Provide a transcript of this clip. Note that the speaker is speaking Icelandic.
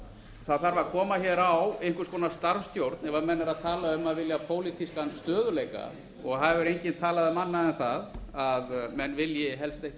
það þarf að koma á einhvers konar starfsstjórn ef menn eru að tala um að vilja pólitískan stöðugleika og það hefur enginn talað um annað en menn vilji helst ekki